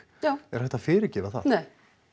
já er hægt að fyrirgefa það nei